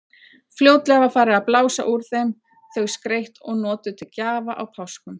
Fljótlega var farið að blása úr þeim, þau skreytt og notuð til gjafa á páskum.